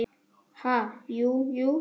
Ha, jú, jú